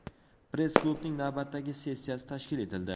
Press-klubning navbatdagi sessiyasi tashkil etildi.